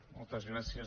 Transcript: moltes gràcies